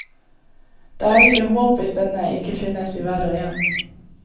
Det er ikke håp hvis denne ikke finnes i hver og én.